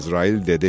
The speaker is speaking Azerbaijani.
Əzrail dedi: